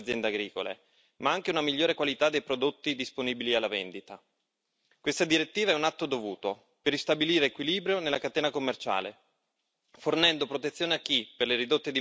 Questa direttiva è un atto dovuto per ristabilire equilibrio nella catena commerciale, fornendo protezione a chi, per le ridotte dimensioni, rischia troppo spesso di trovarsi schiacciato dagli abusi di attori più grandi.